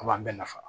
A b'a bɛɛ nafa